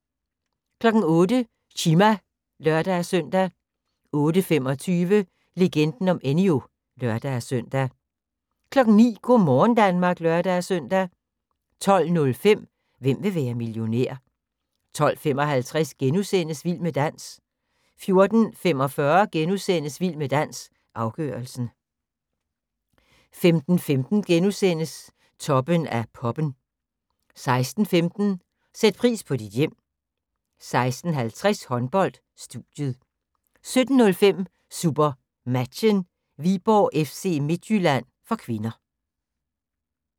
08:00: Chima (lør-søn) 08:25: Legenden om Enyo (lør-søn) 09:00: Go' morgen Danmark (lør-søn) 12:05: Hvem vil være millionær? 12:55: Vild med dans * 14:45: Vild med dans – afgørelsen * 15:15: Toppen af poppen * 16:15: Sæt pris på dit hjem 16:50: Håndbold: Studiet 17:05: SuperMatchen: Viborg-FC Midtjylland (k)